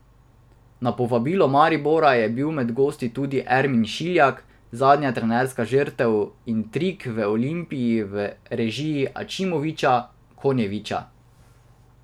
Na povabilo Maribora je bil med gosti tudi Ermin Šiljak, zadnja trenerska žrtev intrig v Olimpiji v režiji Ačimovića, Konjevića...